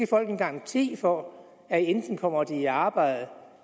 folk en garanti for at de enten kommer i arbejde